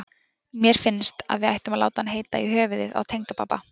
Mér finnst að við ættum að láta hann heita í höfuðið á tengdapabba.